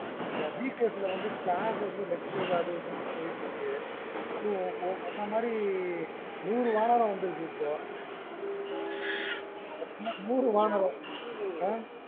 அந்த week days ல வந்து classes lectures அது இதுன்னு போயிட்ருக்கு. அதுவும் ஓ ஓ ஒன்ன மாறி லாம் வந்து ஆஹ் ம்ம் okay sir என்ன மாறி நூறு என்ன sir இது